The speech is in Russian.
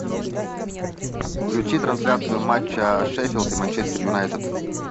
включи трансляцию матча шеффилд и манчестер юнайтед